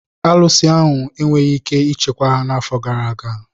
Ụlọ arụsị enweghị ike ichekwa ha n'afọ gara aga.